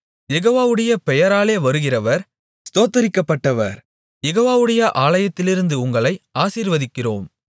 யெகோவாவுடைய பெயராலே வருகிறவர் ஸ்தோத்திரிக்கப்பட்டவர் யெகோவாவுடைய ஆலயத்திலிருந்து உங்களை ஆசீர்வதிக்கிறோம்